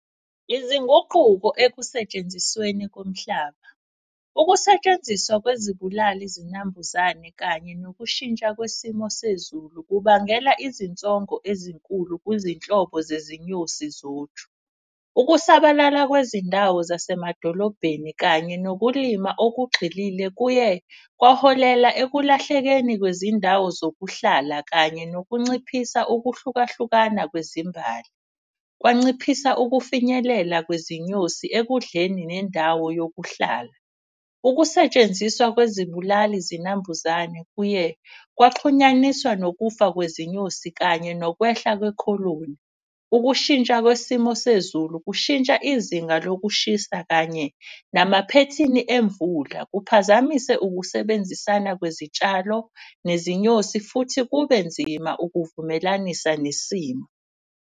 Izinguquko ekusetshenzisweni komhlaba. Ukusetshenziswa kwezibulali zinambuzane kanye nokushintsha kwesimo sezulu kubangela izinsongo ezinkulu kwizinhlobo zezinyosi zoju. Ukusabalala kwezindawo zasemadolobheni kanye nokulima okugxilile kuye kwaholela ekulahlekeni kwezindawo zokuhlala. Kanye nokunciphisa ukuhlukahlukana kwezimbali, kwanciphisa ukufinyelela kwezinyosi ekudleni nendawo yokuhlala. Ukusetshenziswa kwezibulali zinambuzane kuye kwaxhunyaniswa nokufa kwezinyosi kanye nokwehla kwekholoni. Ukushintsha kwesimo sezulu, kushintsha izinga lokushisa kanye namaphethini emvula, kuphazamise ukusebenzisana kwezitshalo nezinyosi. Futhi kube nzima ukuzivumelanisa nesimo.